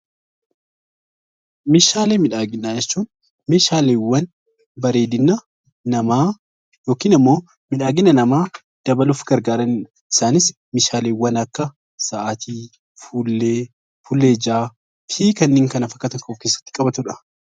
Meeshaalee miidhaginaa jechuun meeshaaleewwan bareedina namaa yookiin immoo bareedina namaa dabaluuf gargaaran meeshaalee akka sa'aatii, fuullee ijaa fi kanneen kana fakkatan kan of keessatti qabatudha.